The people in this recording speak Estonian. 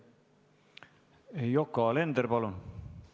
Yoko Alender, palun!